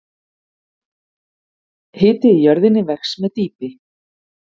Hiti í jörðinni vex með dýpi.